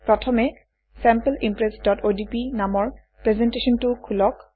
প্ৰথমে sample impressঅডিপি নামৰ প্ৰেজেণ্টেশ্যনটো খোলক